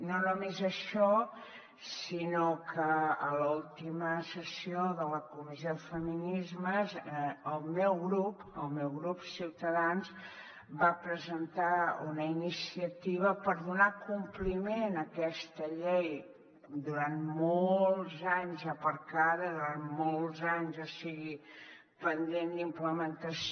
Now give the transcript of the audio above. no només això sinó que a l’última sessió de la comissió de feminismes el meu grup ciutadans va presentar una iniciativa per donar compliment a aquesta llei durant molts anys aparcada durant molts anys o sigui pendent d’implementació